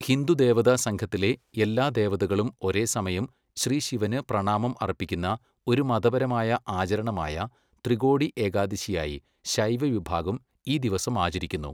ഹിന്ദുദേവതാസംഘത്തിലെ എല്ലാ ദേവതകളും ഒരേസമയം ശ്രീ ശിവന് പ്രണാമം അർപ്പിക്കുന്ന ഒരു മതപരമായ ആചരണമായ ത്രികോടി ഏകാദശിയായി ശൈവ വിഭാഗം ഈ ദിവസം ആചരിക്കുന്നു,